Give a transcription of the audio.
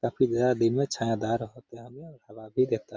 काफी दिन में छायादार होते होंगे। हवा भी देता --